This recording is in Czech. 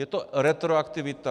Je to retroaktivita.